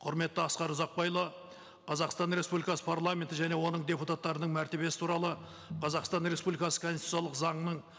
құрметті асқар ұзақбайұлы қазақстан республикасы парламенті және оның депутаттарының мәртебесі туралы қазақстан республикасы конституциялық заңының